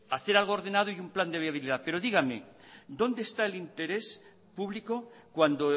hacer algo ordenado y un plan de viabilidad pero díganme dónde está el interés público cuando